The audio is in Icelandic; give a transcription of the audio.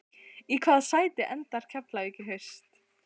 Í hvaða sæti endar Keflavík í haust?